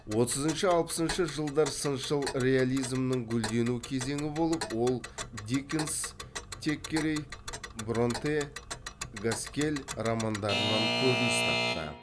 отызыншы алпысыншы жылдар сыншыл реализмнің гүлдену кезеңі болып ол диккенс теккерей бронте гаскелл романдарынан көрініс тапты